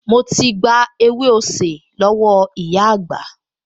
Mo ti gba ewé osè lọ́wọ́ ìyá àgbà